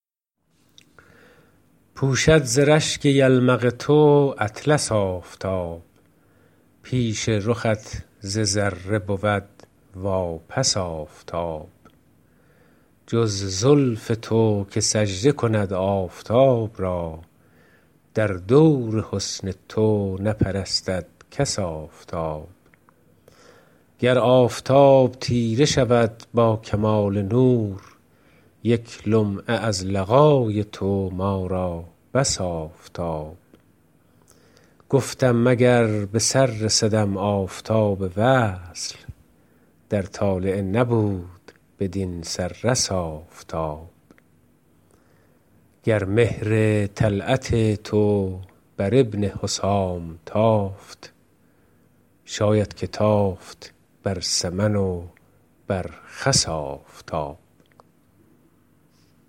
پوشد ز زشک یلمق تو اطلس آفتاب پیش رخ تو ذره بود واپس آفتاب جز زلف تو که سجد کند آفتاب را در دور حسن تو نپرستد کس آفتاب گر آفتاب تیره شود با کمال نور یک لمعه از لقای تو ما را بس آفتاب گفتم مگر به سر رسدم آفتاب وصل در طالعه نبود بدین سدرس آفتاب گر مهر طلعت تو بر ابن حسام تافت شاید که تافت بر سمن و بر خس آفتاب